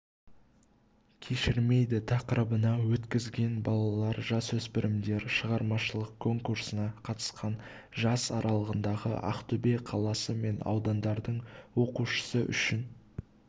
кешірмейді тақырыбына өткізілген балалар-жасөспірімдер шығармашылық конкурсына қатысқан жас аралығындағы ақтөбе қаласы мен аудандардың оқушысы үшін